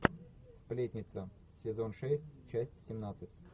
сплетница сезон шесть часть семнадцать